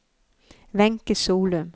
Wenche Solum